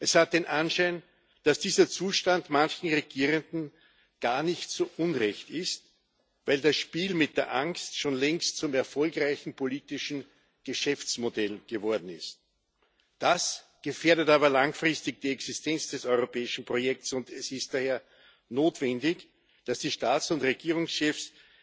Es hat den Anschein, dass dieser Zustand manchen Regierenden gar nicht so unrecht ist, weil das Spiel mit der Angst schon längst zum erfolgreichen politischen Geschäftsmodell geworden ist. Das gefährdet aber langfristig die Existenz des europäischen Projekts, und es ist daher notwendig, dass die Staats und Regierungschefs